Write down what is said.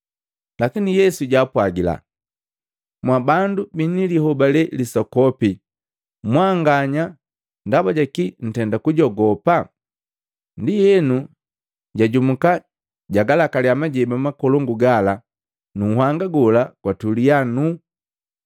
Lakini Yesu jwaapwagila, “Mwabandu bini lihobale lisokopi mwanganya, ndaba jaki ntenda kujogopa?” Ndienu, jajumuka jagalakaliya majeba makolongu gala nu nhanga gola gwatuli nuu.